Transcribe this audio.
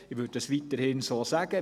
Ich würde dies weiterhin so sagen.